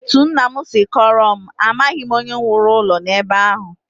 Etu nna m si kọọrọ m, amaghị onye wuru ụlọ a ebe ahụ